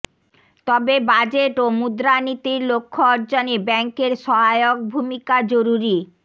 তবে বাজেট ও মুদ্রানীতির লক্ষ্য অর্জনে ব্যাংকের সহায়ক ভূমিকা জরুরী